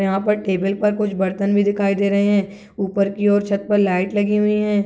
यहाँ पर टेबल पर कुछ बर्तन भी दिखाई दे रहे है ऊपर की और छत पर लाइट लगी हुई है।